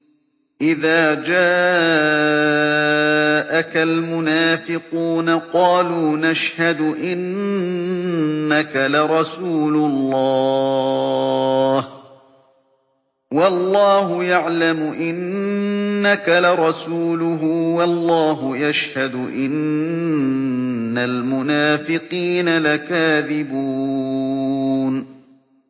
إِذَا جَاءَكَ الْمُنَافِقُونَ قَالُوا نَشْهَدُ إِنَّكَ لَرَسُولُ اللَّهِ ۗ وَاللَّهُ يَعْلَمُ إِنَّكَ لَرَسُولُهُ وَاللَّهُ يَشْهَدُ إِنَّ الْمُنَافِقِينَ لَكَاذِبُونَ